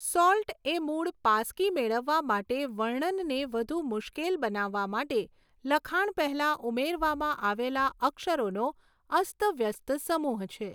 Salt એ મૂળ પાસકી મેળવવા માટે વર્ણનને વધુ મુશ્કેલ બનાવવા માટે લખાણ પહેલાં ઉમેરવામાં આવેલા અક્ષરોનો અસ્તવ્યસ્ત સમૂહ છે.